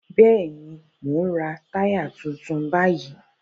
Bẹ́ẹ̀ni, mò ń ra táyà tuntun báyìí